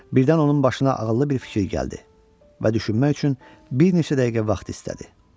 Birdən onun başına ağıllı bir fikir gəldi və düşünmək üçün bir neçə dəqiqə vaxt istədi.